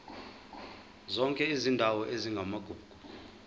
zonke izindawo ezingamagugu